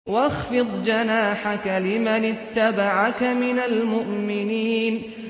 وَاخْفِضْ جَنَاحَكَ لِمَنِ اتَّبَعَكَ مِنَ الْمُؤْمِنِينَ